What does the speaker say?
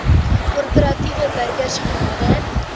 korporatiewe burgers genader